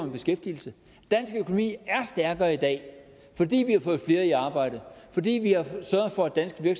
i beskæftigelse dansk økonomi er stærkere i dag fordi vi har fået flere i arbejde fordi vi har sørget for at danske